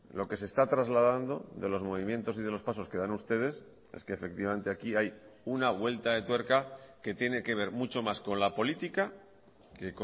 lo que se está trasladando de los movimientos y de los pasos que dan ustedes es que efectivamente aquí hay una vuelta de tuerca que tiene que ver mucho más con la política que